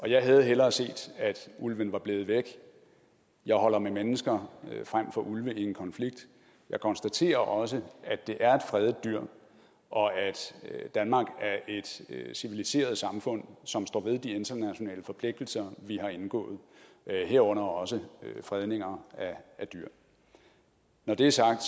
jeg havde hellere set at ulven var blevet væk jeg holder med mennesker frem for ulve i en konflikt jeg konstaterer også at det er et fredet dyr og at danmark er et civiliseret samfund som står ved de internationale forpligtelser vi har indgået herunder også fredninger af dyr når det er sagt